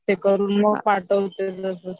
ते करून पाठवते लगेच